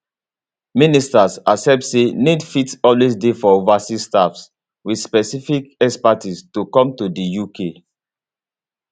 ministers accept say need fit always dey for overseas staff wit specific expertise to come to di uk